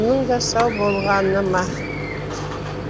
мұның да сау болғаны ма